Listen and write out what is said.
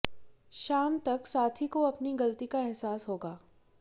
शाम तक साथी को अपनी गलती का एहसास होगा